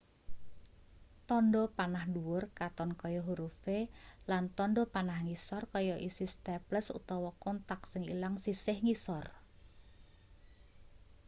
tandha panah dhuwur katon kaya huruf v lan tandha panah ngisor kaya isi staples utawa kothak sing ilang sisih ngisor